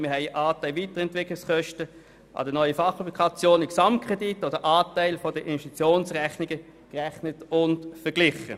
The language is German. Beispielweise haben wir den Anteil der Weiterentwicklungskosten für die Fachapplikationen an den Gesamtkrediten oder den Anteil an der Investitionsrechnung berechnet und verglichen.